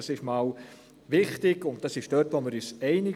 das ist wichtig und hierin sind wir uns einig.